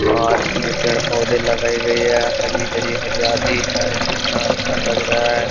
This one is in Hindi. पार्क में पेड़ पोधे लगाए गयी है हरी-हरी हरियाली है कितना अच्छा लग रहा है।